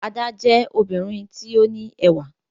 Ada jẹ obirin ti o ni ẹwà